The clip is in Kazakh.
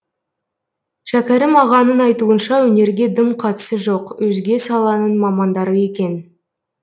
шәкәрім ағаның айтуынша өнерге дым қатысы жоқ өзге саланың мамандары екен